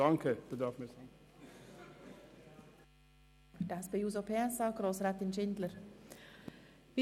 Für die SP-JUSO-PSA-Fraktion hat Grossrätin Schindler das Wort.